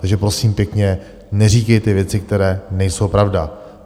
Takže, prosím pěkně, neříkejte věci, které nejsou pravda.